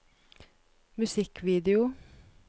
musikkvideo